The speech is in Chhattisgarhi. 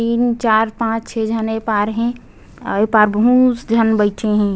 तीन चार पाँच छः झन ये पार हे आऊ ये पार बहुत झन बइठे हे।